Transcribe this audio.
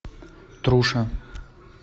труша